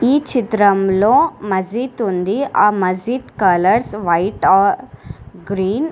ఈ చిత్రంలో మజీద్ ఉంది ఆ మజీద్ కలర్స్ వైట్ ఆర్ గ్రీన్ .